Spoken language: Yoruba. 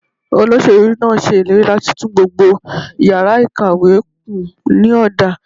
Olóṣèlú náà ṣe ìlérí láti tún gbogbo yàrá ìkàwé kùn ní ọ̀dà.